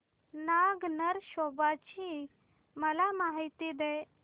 नाग नरसोबा ची मला माहिती दे